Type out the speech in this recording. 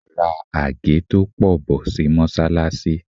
Ra àgé tó pọ̀ bọ̀ sí Mọ́sálásí.